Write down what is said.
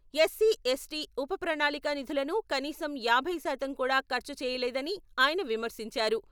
SC, ST ఉప ప్రణాళిక నిధులను కనీసం యాభై శాతం కూడా ఖర్చు చేయలేదని ఆయన విమర్శించారు.